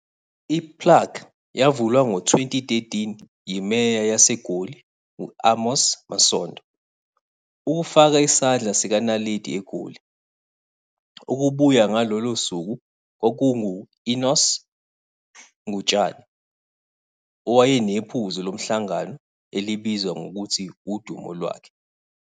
I-plaque yavulwa ngo-2013 yiMeya waseGoli, u-Amos Masondo, ukufaka isandla sikaNaledi eGoli. Ukubuya ngalolo suku kwakungu-Enos Ngutshane owayenephuzu lomhlangano elibizwa ngokuthi udumo lwakhe.